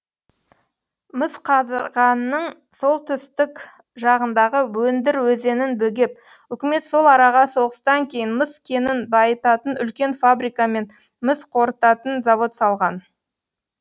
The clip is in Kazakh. мысқазығанның солтүстік жағындағы өндір өзенін бөгеп үкімет сол араға соғыстан кейін мыс кенін байытатын үлкен фабрика мен мыс қорытатын завод салған